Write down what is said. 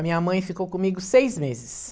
A minha mãe ficou comigo seis meses.